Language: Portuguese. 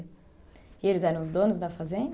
E eles eram os donos da fazenda?